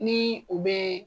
Ni o bɛ